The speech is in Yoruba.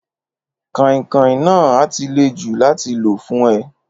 Kàìn-kàin náà á ti le jù láti lò fún ẹ.